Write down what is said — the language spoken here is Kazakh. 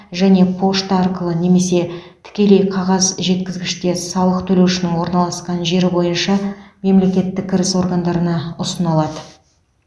және пошта арқылы немесе тікелей қағаз жеткізгіште салық төлеушінің орналасқан жері бойынша мемлекеттік кіріс органдарына ұсына алады